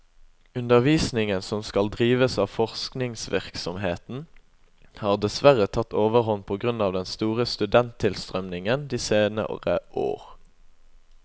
Undervisningen som skal drives av forskningsvirksomheten, har dessverre tatt overhånd på grunn av den store studenttilstrømningen de senere år.